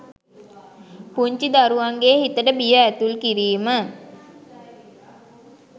පුංචි දරුවන්ගේ හිතට බිය ඇතුල් කිරීම.